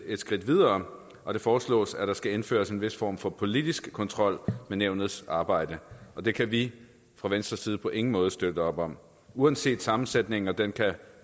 et skridt videre og det foreslås at der skal indføres en vis form for politisk kontrol med nævnets arbejde det kan vi fra venstres side på ingen måde støtte op om uanset sammensætningen og den kan